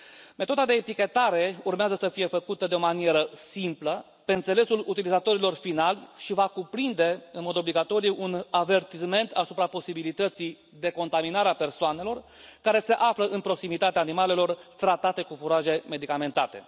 Metoda de etichetare urmează să fie făcută de o manieră simplă, pe înțelesul utilizatorilor finali și va cuprinde, în mod obligatoriu, un avertisment asupra posibilității de contaminare a persoanelor care se află în proximitatea animalelor tratate cu furaje medicamentate.